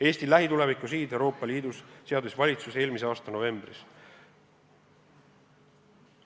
Eesti lähituleviku sihid Euroopa Liidus seadis valitsus eelmise aasta novembris.